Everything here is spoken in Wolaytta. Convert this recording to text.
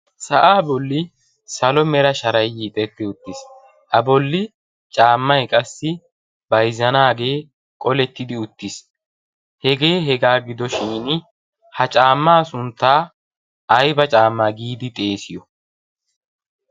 sa'aa bolli salo mera sharay yiixettidi uttiis a bolli caammay qassi bayzzanaagee qolettidi uttiis hegee hegaa gido shin ha caammaa sunttaa ayba caammaa giidi xeesiyo